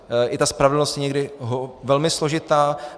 I ta spravedlnost je někdy velmi složitá.